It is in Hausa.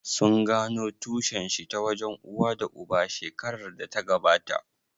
Sun gano tushen shi ta wajen uwa da uba shekarar da ta gabata?